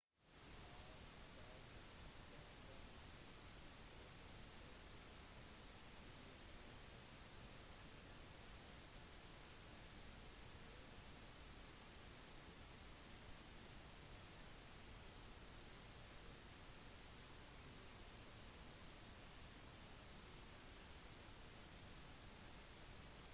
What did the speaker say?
talsperson for komen-stiftelsen leslie aun sa at organisasjonen har tatt i bruk en ny regel som ikke tillater at bidrag eller finansiering blir delt ut til organisasjoner som er under juridisk etterforskning